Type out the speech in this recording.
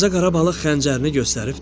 Balaca qara balıq xəncərini göstərib dedi: